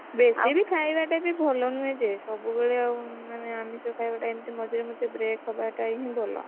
ବେଶୀ ବି ଖାଇବାଟା ବି ଭଲ ନୁହ ଯେ, ସବୁବେଳେ ମଝିରେ ମଝିରେ break ହବାଟା ବି ଭଲ।